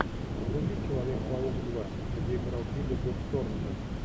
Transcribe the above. вруби человек паук два где играл билли боб торнтон